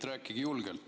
Rääkige julgelt.